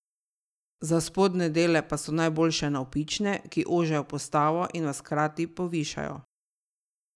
Za spodnje dele pa so najboljše navpične, ki ožajo postavo in vas hkrati povišajo.